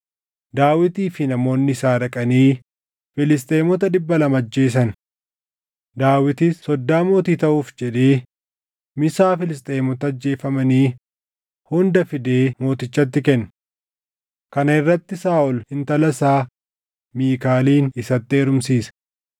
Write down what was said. Daawitii fi namoonni isaa dhaqanii Filisxeemota dhibba lama ajjeesan. Daawitis soddaa mootii taʼuuf jedhee misaa Filisxeemota ajjeefamanii hunda fidee mootichatti kenne. Kana irratti Saaʼol intala isaa Miikaalin isatti heerumsiise.